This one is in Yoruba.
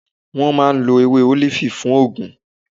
Wọn máà ń ló ewé olifi fun óògùn.